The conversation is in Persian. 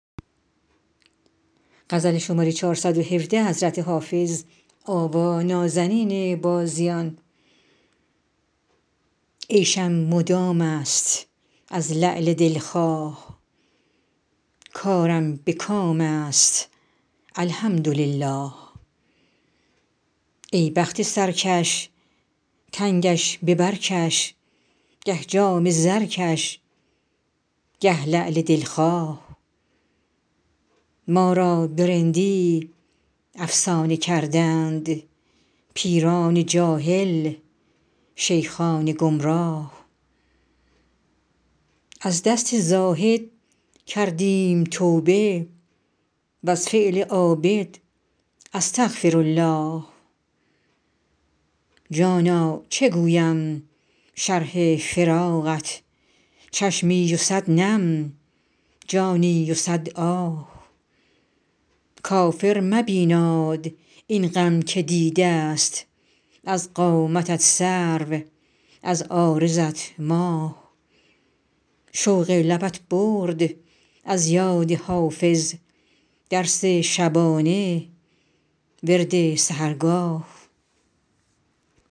عیشم مدام است از لعل دل خواه کارم به کام است الحمدلله ای بخت سرکش تنگش به بر کش گه جام زرکش گه لعل دل خواه ما را به رندی افسانه کردند پیران جاهل شیخان گمراه از دست زاهد کردیم توبه و از فعل عابد استغفرالله جانا چه گویم شرح فراقت چشمی و صد نم جانی و صد آه کافر مبیناد این غم که دیده ست از قامتت سرو از عارضت ماه شوق لبت برد از یاد حافظ درس شبانه ورد سحرگاه